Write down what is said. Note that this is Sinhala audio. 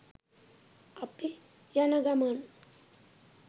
අපි යනගමන්